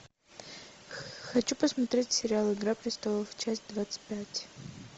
хочу посмотреть сериал игра престолов часть двадцать пять